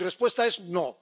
Mi respuesta es no.